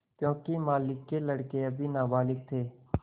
योंकि मालिक के लड़के अभी नाबालिग थे